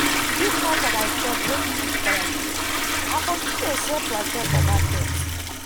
if not for my church wey give me scholarship i for still dey sell plantain for market